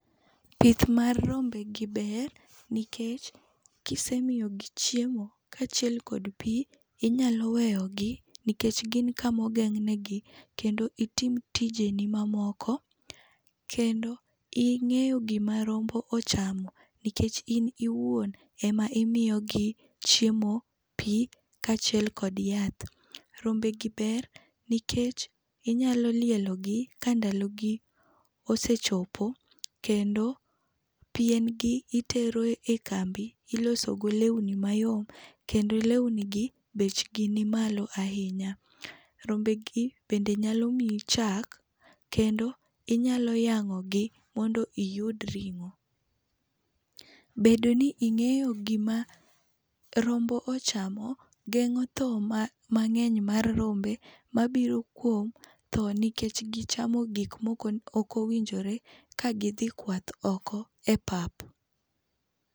Pith mar rombegi ber nikech kisemigi chiemo kaachiel kod pi, inyalo weyogi nikech gin kamogeng'negi kendo itim tijeni mamoko. Kendo ing'eyo gima rombo ochamo nikech in iwuon ema imiyogi chiemo, pi kaachiel kod yath. Rombegi ber nikech nyalo lielogi ka ndalogi osechopo kendo piengi itero e kambi ilosogo lewni mayom, kendo lewnigi bechgi nimalo ahinya. Rombegi bende nyalo miyi chak kendo inyalo yang'ogi mondo iyud ring'o. Bedo ni ing'eyo gima rombo ochamo geng'o tho mang'eny mar rombe mabiro kuom tho nikech gichamo gik mokowinjore ka gidhi kwath oko e pap.